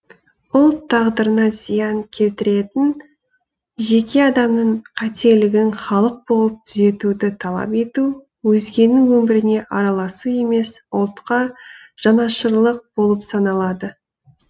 ұлт тағдырына зиян келтіретін жеке адамның қателігін халық болып түзетуді талап ету өзгенің өміріне араласу емес ұлтқа жанашырлық болып саналады